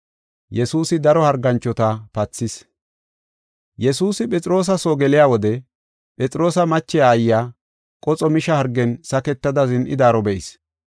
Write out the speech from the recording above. Yesuusi Phexroosa soo geliya wode, Phexroosa mache aayiya qoxo misha hargen saketada zin7idaaro be7is.